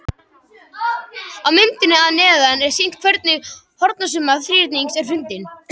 Á myndinni að neðan er sýnt hvernig hornasumma þríhyrnings er fundin.